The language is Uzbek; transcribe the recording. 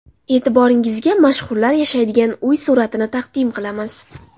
E’tiboringizga mashhurlar yashaydigan uy suratlarini taqdim qilamiz.